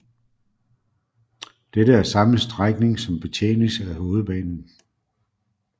Dette er samme strækning som betjenes af Hovedbanen